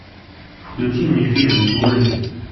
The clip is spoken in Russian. включи мне фильм дуэты